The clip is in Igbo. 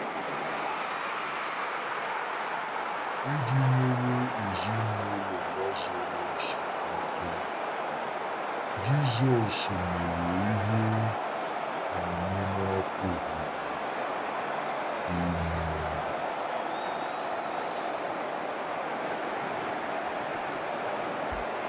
Iji nyere ezinụlọ Lazarọs aka, Jizọs mere ihe anyị na-apụghị ime.